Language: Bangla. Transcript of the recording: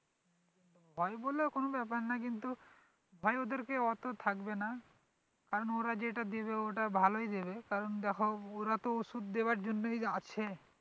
ভয় বলে কোনো ব্যাপার না কিন্তু ভয় ওদেরকে অতো থাকবে না কারণ ওরা যেটা দেবে ওটা ভালোই দেবে কারণ দেখো ওরা তো ওষুধ দেওয়ার জন্যই আছে।